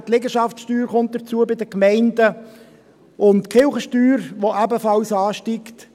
Bei den Gemeinden kommt die Liegenschaftssteuer hinzu, und die Kirchensteuer, die ebenfalls ansteigt.